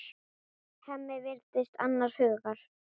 Hemmi virðist annars hugar.